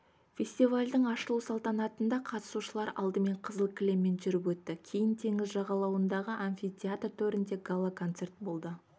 фестивальдің ашылу салтанатында қатысушылар алдымен қызыл кілеммен жүріп өтті кейін теңіз жағалауындағы амфитеатр төрінде гала-концерт болды